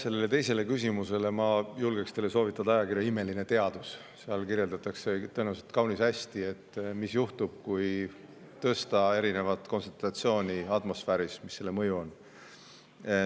Sellele teisele küsimusele vastuse saamiseks ma julgeksin teile soovitada ajakirja Imeline Teadus, seal kirjeldatakse tõenäoliselt kaunis hästi, mis juhtub, kui tõsta erinevaid kontsentratsioone atmosfääris, ja milline on selle mõju.